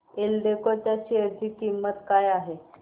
एल्डेको च्या शेअर ची किंमत काय आहे